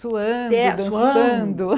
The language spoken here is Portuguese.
Suando, dançando.